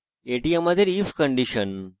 এটি আমাদের if condition